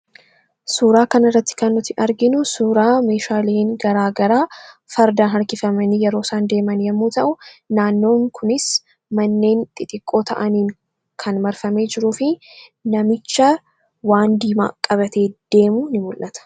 Suuraa kanarratti kan nuti arginu suuraa meehaaleen garagaraa fardaan harkifamani yeroo isaan deeman yommuu ta'u, naannoon kunis manneen xixiqqoo ta'aniin kan marfamee jiruufi namicha waan diimaa qabatee deemu ni mul'ata.